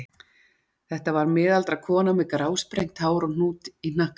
Þetta var miðaldra kona með grásprengt hár og hnút í hnakkanum.